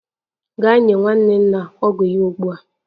Gaa nye nwanne nna ọgwụ ya ugbu a!